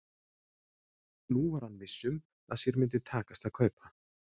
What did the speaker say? Nú var hann viss um að sér myndi takast að kaupa